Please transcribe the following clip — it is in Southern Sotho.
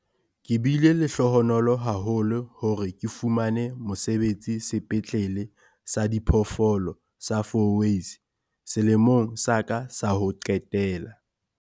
Ke bile lehlohonolo haholo hore ke fumane mosebetsi Sepetlele sa Diphoofolo sa Fourways selemong sa ka sa ho qetela.